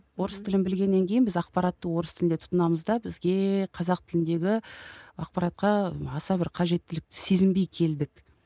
орыс тілін білгеннен кейін біз ақпаратты орыс тілінде тұтынамыз да бізге қазақ тіліндегі ақпаратқа аса бір қажеттілікті сезінбей келдік